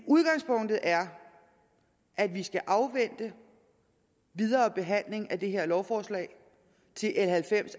udgangspunktet er at vi skal afvente videre behandling af det her lovforslag til l halvfems